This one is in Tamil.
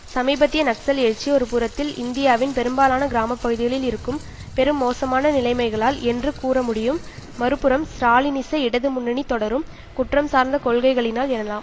சமீபத்திய நக்சல் எழுச்சி ஒரு புறத்தில் இந்தியாவின் பெரும்பாலான கிராமப்பகுதிகளில் இருக்கும் பெரும் மோசமான நிலைமைகளால் என்று கூறமுடியும் மறுபுறம் ஸ்ராலினிச இடது முன்னணி தொடரும் குற்றம் சார்ந்த கொள்கைகளினால் எனலாம்